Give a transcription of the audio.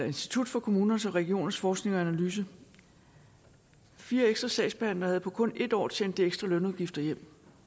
institut for kommuners og regioners forskning og analyse fire ekstra sagsbehandlere havde på kun en år tjent de ekstra lønudgifter hjem